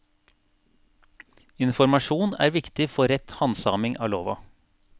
Informasjon er viktig for rett handsaming av lova.